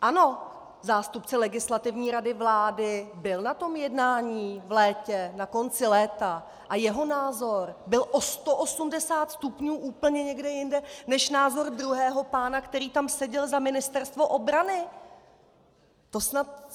Ano, zástupce Legislativní rady vlády byl na tom jednání v létě, na konci léta, a jeho názor byl o 180 stupňů úplně někde jinde než názor druhého pána, který tam seděl za Ministerstvo obrany!